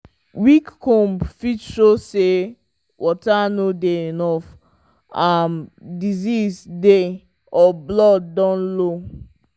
weak comb fit show say water no dey enough um disease dey or blood don low.